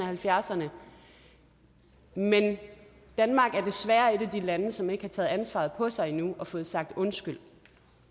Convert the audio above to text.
halvfjerdserne men danmark er desværre et af de lande som ikke har taget ansvaret på sig endnu og har fået sagt undskyld